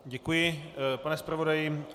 Děkuji, pane zpravodaji.